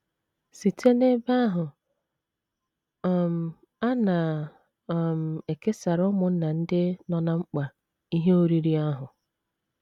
Site n’ebe ahụ, um a na um - ekesara ụmụnna ndị nọ ná mkpa ihe oriri ahụ.